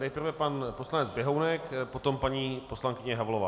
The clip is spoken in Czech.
Nejprve pan poslanec Běhounek, potom paní poslankyně Havlová.